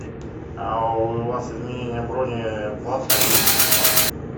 а у вас изменение брони платно или бесплатно